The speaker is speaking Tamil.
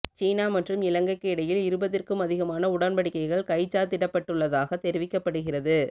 சீனா மற்றும் இலங்கைக்கு இடையில் இருபதிற்கும் அதிகமான உடன்படிக்கைகள் கைச்சாத்திடப்பட்டுள்ளதாக தெரிவிக்கப்படுகிறது